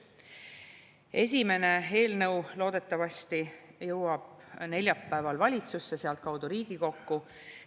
Esimene eelnõu loodetavasti jõuab neljapäeval valitsusse, sealtkaudu Riigikokku.